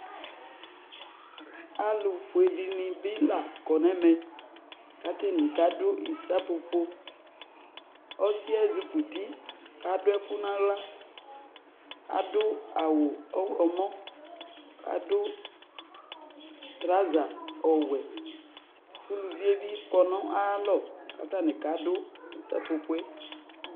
Alʋfue dɩnɩ bɩ la kɔ nʋ ɛmɛ kʋ atanɩ kadʋ ɩsapopo Ɔsɩ yɛ ezikuti kʋ adʋ ɛkʋ nʋ aɣla Adʋ awʋ ɔɣlɔmɔ kʋ adʋ traza ɔwɛ kʋ uluvi yɛ bɩ kɔ nʋ ayalɔ kʋ atanɩ kadʋ ɩsapopo yɛ